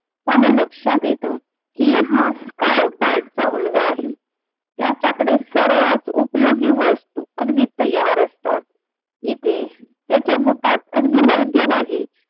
आणि लक्षात येत की हा कायम स्काय स्टार्टचा मुलगा आहे त्याच्याकडे सर्वात उपयोगी वस्तु अगदी तयार असतात इथे त्याच्या बुटात अगदी योग्य जागी